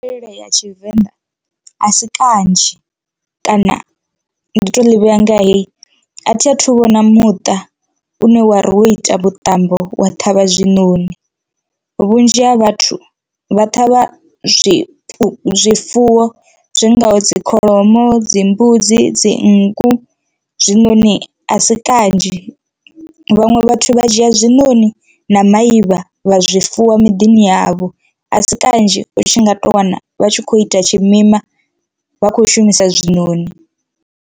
Mvelele ya tshivenḓa a si kanzhi kana ndi to ḽi vhea nga hei a thi a thu vhona muṱa une wari wo ita muṱambo wa ṱhavha hezwinoni, vhunzhi ha vhathu vha ṱhavha zwiṅwe zwifuwo zwi ngaho dzi kholomo, dzi mbudzi, dzi nngu zwinoni asi kanzhi. Vhaṅwe vha vha dzhia zwinoni na maivha vha zwifuwa miḓini yavho a si kanzhi u tshi nga to wana vha tshi kho ita tshimima vha kho shumisa zwinoni.